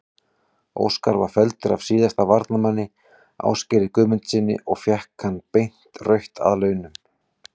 Óskar var felldur af síðasta varnarmanni, Ásgeiri Guðmundssyni og fékk hann beint rautt að launum.